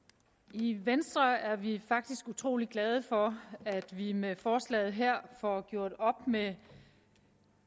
i venstre er vi faktisk utrolig glade for at vi med forslaget her får gjort op med